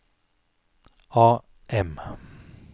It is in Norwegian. AM